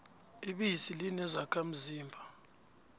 ibisi linezakha mzimba